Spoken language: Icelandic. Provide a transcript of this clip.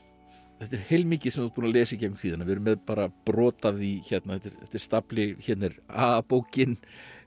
þetta er heilmikið sem þú ert búinn að lesa í gegnum tíðina við erum með bara brot af því hérna þetta er þetta er stafli hérna er a bókin